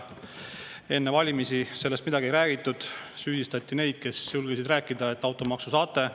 Enne valimisi sellest midagi ei räägitud, süüdistati neid, kes julgesid rääkida, et automaksu te saate.